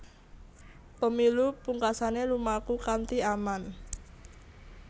Pemilu pungkasané lumaku kanthi aman